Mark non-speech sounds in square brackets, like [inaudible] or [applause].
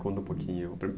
Conta um pouquinho. [unintelligible]